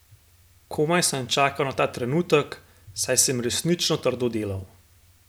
Komaj sem čakal na ta trenutek, saj sem resnično trdo delal.